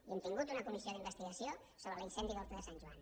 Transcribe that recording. i hem tingut una comissió d’investigació sobre l’incendi d’horta de sant joan